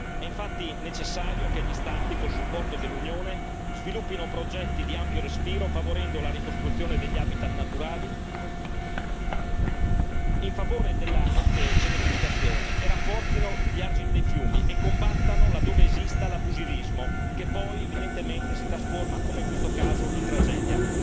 È infatti necessario che gli Stati, con il supporto dell'Unione sviluppino progetti di ampio respiro, favorendo la ricostruzione degli habitat naturali in favore della cementificazione e rafforzino gli argini dei fiumi e combattano laddove esista l'abusivismo, che poi evidentemente si trasforma, come in questo caso, in tragedia.